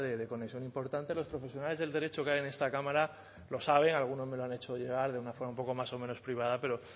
de conexión importante los profesionales del derecho que hay en esta cámara lo sabe alguno me lo ha hecho llegar de una forma un poco más o menos privada pero